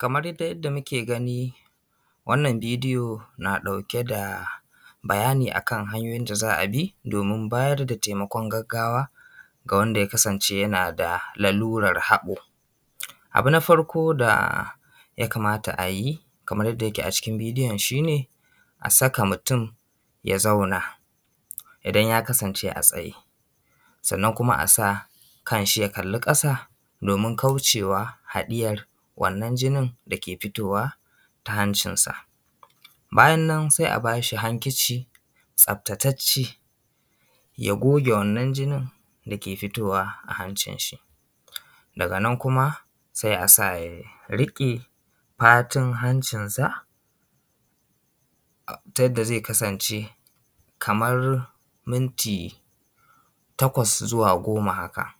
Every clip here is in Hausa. Kamar yadda muke gani na ɗauke da bayani akan hanyoyin da za a bi a nema taimakon gaggawa ce an yana da lalurar haɓo. Abu na farko da ya kamata a yi kamar yadda yake a cikin bidiyo, shi ne a saka mutum ya zauna idan ya kasance a tsaye sannan kuma a sa kan shi ya kalli ƙasa domin kauce wa haɗiyar wannan jini dake fitowa ta hancinsa. Bayan nan sai a ba shi hakici tsaftatacce ya goge wannan jini dake fitowa a hancin shi daga nan kuma sai a a ya riƙe fatun hancinsa ta yadda zai kasance kamar minti takwas zuwa goma haka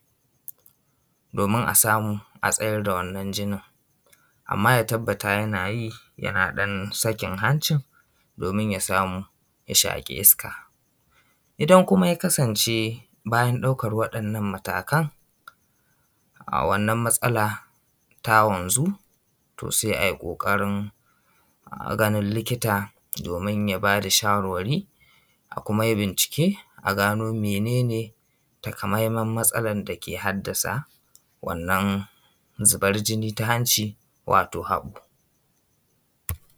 domin a samu a tsayar da wannan jinin amma ya tabbata yana yi yana sakin hancin domin ya shaƙi iska. Idan kuma ya kasance baya ɗaukar wannan matakan a wannan matsala ta wanzu to sai a yi ƙoƙarin ganin likita domin ya ba da shawarwari a kuma yi bincike mene ne takamaiman matsalar dake haddasa wannan zubar jini ta hancin wato haɓo.